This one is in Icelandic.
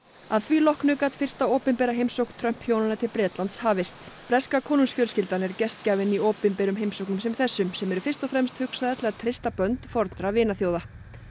að því loknu gat fyrsta opinbera heimsókn Trump hjónanna til Bretlands hafist breska konungsfjölskyldan er gestgjafinn í opinberum heimsóknum sem þessum sem eru fyrst og fremst hugsaðar til að treysta bönd fornra vinaþjóða